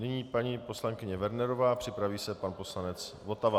Nyní paní poslankyně Wernerová, připraví se pan poslanec Votava.